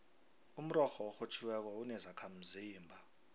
umrorho orhutjhiweko unezakhamzimba